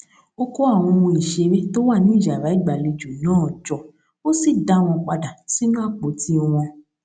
ó kó àwọn ohun ìṣeré tó wà ní yàrá ìgbàlejò náà jọ ó sì dá wọn padà sínú àpótí wọn